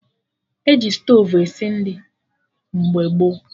E ji stovu esi nri mgbe gboo